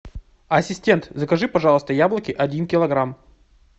ассистент закажи пожалуйста яблоки один килограмм